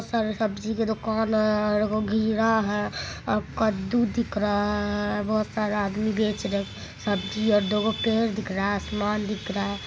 बहोत सारा सब्जी के दोकान है और वो है और कद्दू दिख रहा है बहोत सारे आदमी बेच रहे है सब्जी और वो पेड़ दिख रहा है आसमान दिख रहा है।